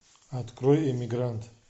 открой эмигрант